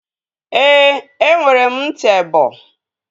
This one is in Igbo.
Ee, enwere m ntị ebọ